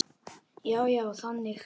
Já, já, þannig.